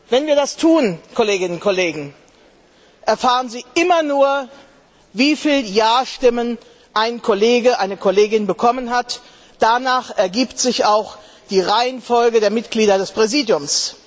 Wenn wir das tun, Kolleginnen und Kollegen, erfahren Sie immer nur, wie viele Ja Stimmen eine Kollegin ein Kollege bekommen hat, danach ergibt sich auch die Reihenfolge der Mitglieder des Präsidiums.